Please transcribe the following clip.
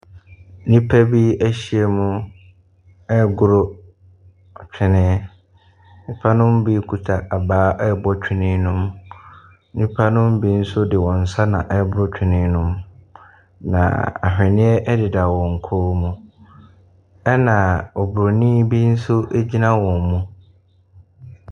Nnipa bi ahyiam regoro atwene. Nnipa no bi kuta abaa rebɔ twene no mu. Nnipa no bi nso de wɔn nsa na ɛreboro twene no, na ahwenneɛ deda wɔn kɔn mu, ɛnna oburoni bi nso gyina wɔn mu.